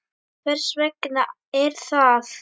Hvers vegna er það?